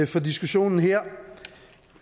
for diskussionen her